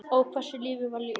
Ó, hversu lífið var ljúft.